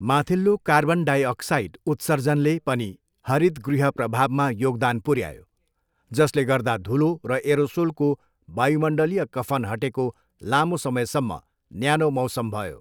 माथिल्लो carbon dioxide उत्सर्जनले पनि हरितगृह प्रभावमा योगदान पुर्यायो, जसले गर्दा धुलो र एरोसोलको वायुमण्डलीय कफन हटेको लामो समयसम्म न्यानो मौसम भयो।